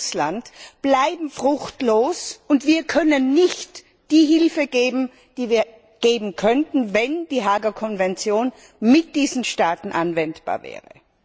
mit Russland bleiben fruchtlos, und wir können nicht die Hilfe geben, die wir geben könnten, wenn die Haager Konvention auf diese Staaten anwendbar wäre.